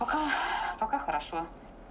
пока пока хорошо